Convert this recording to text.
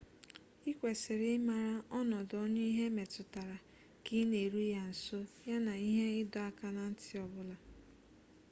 ikwesiri ịmara ọnọdụ onye ihe metụtara ka ị na eru ya nso ya na ihe ịdọ aka na ntị ọbụla